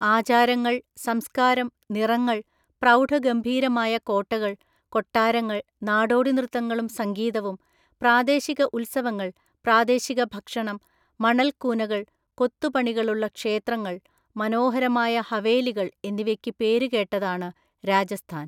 ആചാരങ്ങൾ, സംസ്കാരം, നിറങ്ങൾ, പ്രൌഢഗംഭീരമായ കോട്ടകൾ, കൊട്ടാരങ്ങൾ, നാടോടി നൃത്തങ്ങളും സംഗീതവും, പ്രാദേശിക ഉത്സവങ്ങൾ, പ്രാദേശിക ഭക്ഷണം, മണൽക്കൂനകൾ, കൊത്തുപണികളുള്ള ക്ഷേത്രങ്ങൾ, മനോഹരമായ ഹവേലികൾ എന്നിവയ്ക്ക് പേരുകേട്ടതാണ് രാജസ്ഥാൻ.